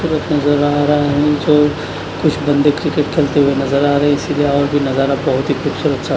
कुछ बंदे क्रिकेट खेलते हुए नजर आ रहे इसलिए और भी नजरा बहुत ही खूबसूरत सा--